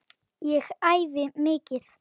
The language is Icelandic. Ég æfi mikið.